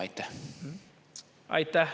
Aitäh!